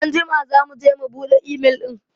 Anjima za mu je mu buɗe imel ɗin.